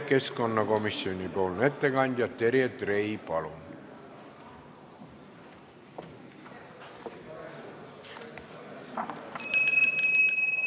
Keskkonnakomisjoni ettekandja Terje Trei, palun!